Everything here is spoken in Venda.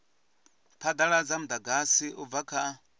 phadaladza mudagasi u bva kha